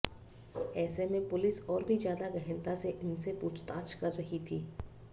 ऐसे में पुलिस और भी ज्यादा गहनता से इनसे पूछताछ कर रही थी